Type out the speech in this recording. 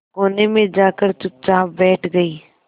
कोने में जाकर चुपचाप बैठ गई